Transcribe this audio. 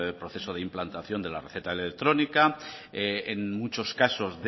proceso de implantación de la receta electrónica en muchos casos